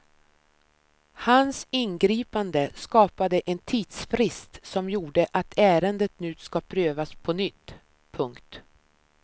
Hans ingripande skapade en tidsfrist som gjorde att ärendet nu ska prövas på nytt. punkt